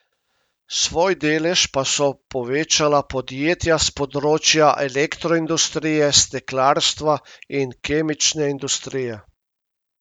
Svoj delež pa so povečala podjetja s področja elektroindustrije, steklarstva in kemične industrije.